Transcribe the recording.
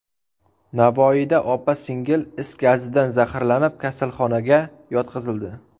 Navoiyda opa-singil is gazidan zaharlanib, kasalxonaga yotqizildi.